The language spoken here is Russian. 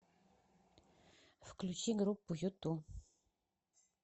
включи группу юту